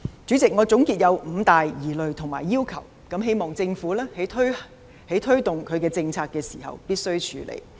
主席，我總結有五大疑慮及要求，希望政府推動政策時必須處理。